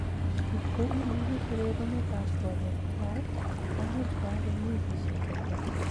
Kot ko imeche kererunet ab konyek tuai ,komuch kuak eng wikishek cheter.